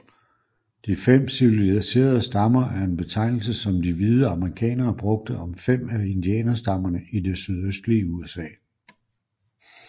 De fem civiliserede stammer er en betegnelse som de hvide amerikanere brugte om fem af indianerstammerne i det sydøstlige USA